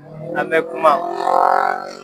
An bɛ kuma